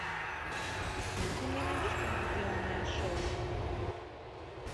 ты мне найдешь телевизионное шоу